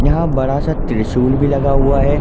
यहाँ बड़ा सा त्रिशूल भी लगा हुआ है।